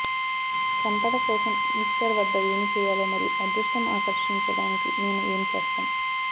సంపద కోసం ఈస్టర్ వద్ద ఏమి చేయాలో మరియు అదృష్టం ఆకర్షించడానికి మేము ఏమి చేస్తాం